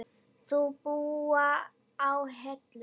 Þau búa á Hellu.